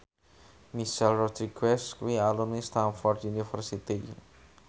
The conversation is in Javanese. Michelle Rodriguez kuwi alumni Stamford University